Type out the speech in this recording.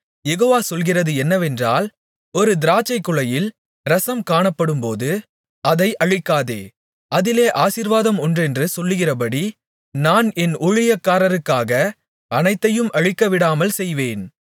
யெகோவா சொல்கிறது என்னவென்றால் ஒரு திராட்சைக்குலையில் இரசம் காணப்படும்போது அதை அழிக்காதே அதிலே ஆசீர்வாதம் உண்டென்று சொல்கிறபடி நான் என் ஊழியக்காரருக்காக அனைத்தையும் அழிக்கவிடாமல் செய்வேன்